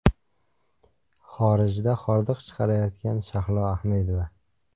Xorijda hordiq chiqarayotgan Shahlo Ahmedova.